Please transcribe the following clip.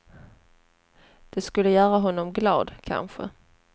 Det skulle göra honom glad, kanske.